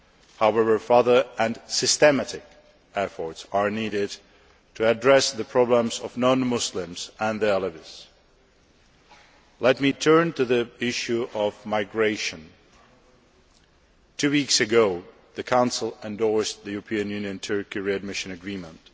However, further and systematic efforts are needed to address the problems of non Muslims and the Alevis. Let me turn to the issue of migration. Two weeks ago, the Council endorsed the EU Turkey readmission agreement.